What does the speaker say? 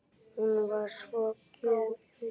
Hún var svo gjöful.